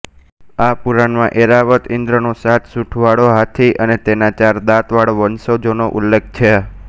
આ પુરાણમાં ઐરાવત ઇંદ્રનો સાત સુંઢવાળો હાથી અને તેનાં ચાર દાંત વાળા વંશજોનો ઉલ્લેખ છે